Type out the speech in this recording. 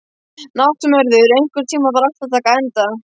Náttmörður, einhvern tímann þarf allt að taka enda.